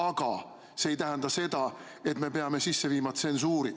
Aga see ei tähenda seda, et me peame sisse viima tsensuuri.